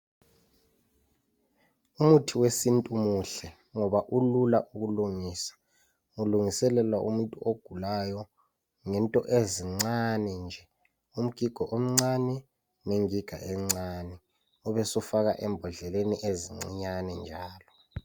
Umuthi wesintu muhle ,ngoba ulula ukulungisa. Ulungiselelwa umuntu ogulayo ngento ezincani nje. Umgigo omncani ,ngengiga encani. Ubesufaka embodleleni ezincinyani njalo.